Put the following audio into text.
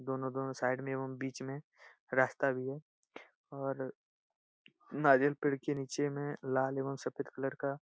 दोनो-दोनो side मे एवं बीच मे रास्ता भी है और नारियल पेड़ के नीचे में लाल एवं सफेद कलर का --